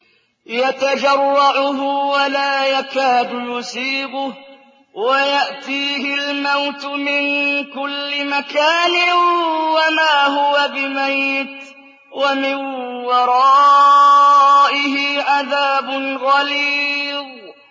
يَتَجَرَّعُهُ وَلَا يَكَادُ يُسِيغُهُ وَيَأْتِيهِ الْمَوْتُ مِن كُلِّ مَكَانٍ وَمَا هُوَ بِمَيِّتٍ ۖ وَمِن وَرَائِهِ عَذَابٌ غَلِيظٌ